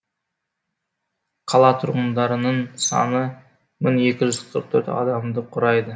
қала тұрғындарының саны мың екі жүз қырық төрт адамды құрайды